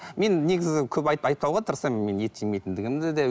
мен негізі көп айтпауға тырысамын мен ет жемейтіндігімді де